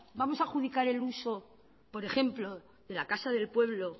vamos a adjudicar el uso por ejemplo de la casa del pueblo